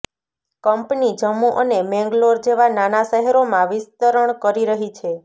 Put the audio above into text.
company Jammu અને મેંગલોર જેવા નાના શહેરોમાં વિસ્તરણ કરી રહી છે